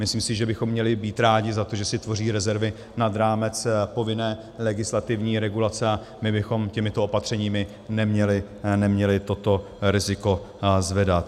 Myslím si, že bychom měli být rádi za to, že si tvoří rezervy nad rámec povinné legislativní regulace, a my bychom těmito opatřeními neměli toto riziko zvedat.